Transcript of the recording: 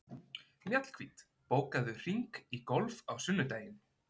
Mjallhvít, bókaðu hring í golf á sunnudaginn.